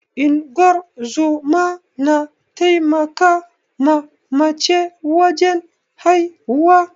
Ingozuma na taimaka ma mace wajen haihuwa